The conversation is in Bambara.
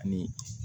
Ni